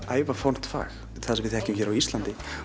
ævafornt fag það sem við þekkjum á Íslandi